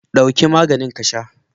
Ɗauki maganin ka sha!